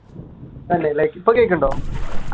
ഇപ്പൊ കേൾക്കുന്നുണ്ടോ?